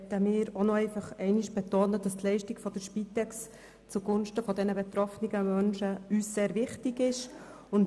Wir möchten nochmals betonen, dass uns die Leistungen der Spitex zugunsten der betroffenen Menschen sehr wichtig sind.